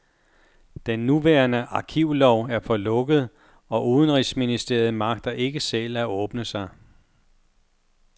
Den nuværende arkivlov er for lukket, og udenrigsministeriet magter ikke selv at åbne sig.